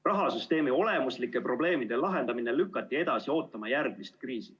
Rahasüsteemi olemuslike probleemide lahendamine lükati edasi ootama järgmist kriisi.